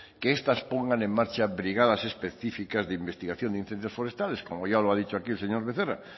que estas pongan en marcha brigadas específicas de investigación de incendios forestales como ya lo ha dicho aquí el señor becerra